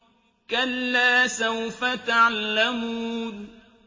كَلَّا سَوْفَ تَعْلَمُونَ